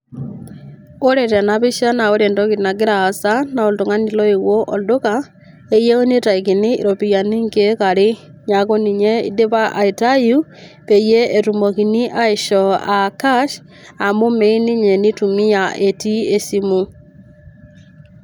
Ore tenapisha naa ore entoki nagira aasa naa oltungani loewuo olduka ,keyieu nitaiki iropiyiani nkiek are ,niaku ninye idipa aitayu peyie etumokini aishoo aa cash amu meyieu ninye nitumia etii esimu.